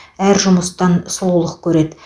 әр жұмыстан сұлулық көреді